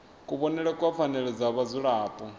kuvhonele kwa pfanelo dza vhadzulapo